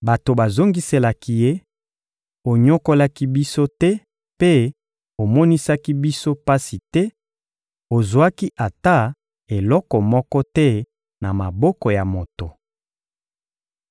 Bato bazongiselaki ye: — Onyokolaki biso te mpe omonisaki biso pasi te; ozwaki ata eloko moko te na maboko ya moto.